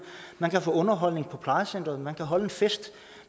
man kan få underholdning på plejecentret man kan holde en fest